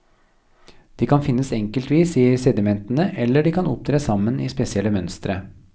De kan finnes enkeltvis i sedimentene eller de kan opptre sammen i spesielle mønstre.